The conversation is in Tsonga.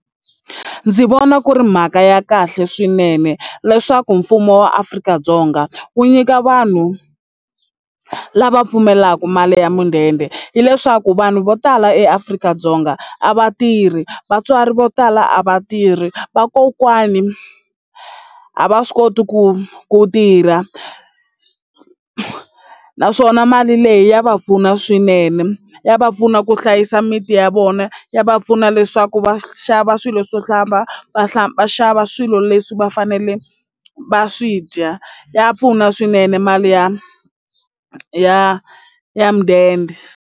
Ndzi vona ku ri mhaka ya kahle swinene leswaku mfumo wa Afrika-Dzonga wu nyika vanhu lava pfumelaka mali ya mudende hileswaku vanhu vo tala eAfrika-Dzonga a va tirhi vatswari vo tala a va tirhi vakokwani a va swi koti ku ku tirha naswona mali leyi ya va pfuna swinene ya va pfuna ku hlayisa miti ya vona ya va pfuna leswaku va xava swilo swo hlamba va xava va va xava swilo leswi va fanele va swi dya ya pfuna swinene mali ya ya ya mudende.